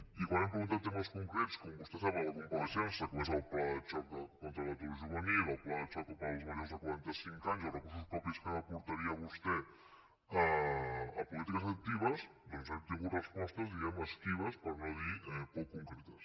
i quan hem preguntat temes concrets com vostè sap a la compareixença com és el pla de xoc contra l’atur juvenil el pla de xoc per als majors de quaranta cinc anys els recursos propis que aportaria vostè a polítiques actives hem tingut respostes diguem ne esquives per no dir poc concretes